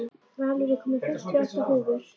Valur, ég kom með fimmtíu og átta húfur!